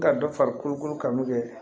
Ka dɔ fari kolokolo kanu kɛ